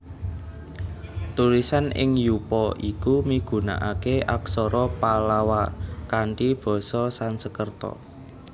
Tulisan ing yupa iku migunakaké Aksara Pallawa kanthi basa Sansekerta